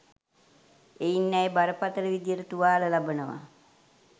එයින් ඇය බරපතල විදියට තුවාල ලබනවා